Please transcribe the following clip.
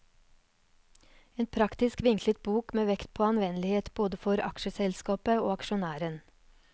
En praktisk vinklet bok med vekt på anvendelighet både for aksjeselskapet og aksjonæren.